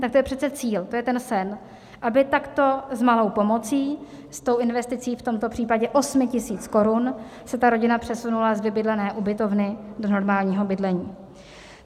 Tak to je přece cíl, to je ten sen, aby takto s malou pomocí, s tou investicí v tomto případě 8 000 korun se ta rodina přesunula z vybydlené ubytovny do normálního bydlení.